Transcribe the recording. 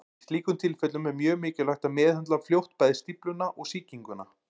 Í slíkum tilfellum er mjög mikilvægt að meðhöndla fljótt bæði stífluna og sýkinguna.